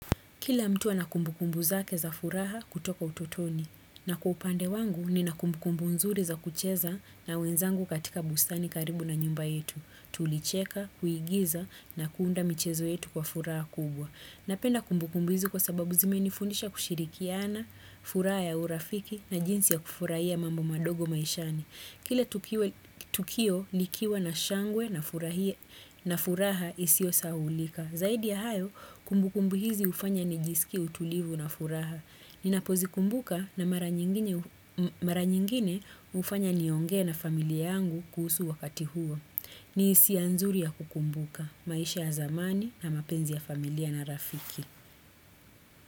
Kila mtu ana kumbukumbu zake za furaha kutoka ututoni na kwa upande wangu nina kumbukumbu nzuri za kucheza na wenzangu katika bustani karibu na nyumba yetu. Tulicheka, kuigiza na kuunda michezo yetu kwa furaha kubwa. Napenda kumbukumbu hizi kwa sababu zime nifundisha kushirikiana, furaha ya urafiki na jinsi ya kufurahia mambo madogo maishani. Kile tukio likiwa na shangwe na furaha isio sahaulika. Zaidi ya hayo, kumbu kumbu hizi hufanya nijisikie utulivu na furaha. Ninapozikumbuka na mara nyingine hufanya niongee na familia yangu kuhusu wakati huo. Ni hisia nzuri ya kukumbuka, maisha ya zamani na mapenzi ya familia na rafiki.